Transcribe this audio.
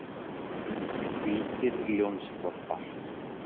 Hvítir ljónshvolpar.